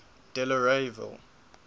delareyville